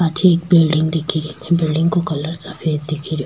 पाछे एक बिलडिंग दिख री बिलडिंग को कलर सफ़ेद दिख रो।